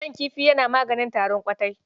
Man kifi yana maganin tarin ƙwatai.